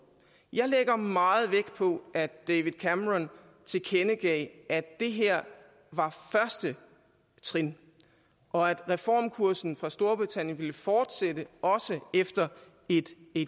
jeg lægger meget vægt på at david cameron tilkendegav at det her var første trin og at reformkursen for storbritannien ville fortsætte også efter et